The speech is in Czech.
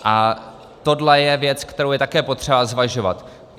A tohle je věc, kterou je také potřeba zvažovat.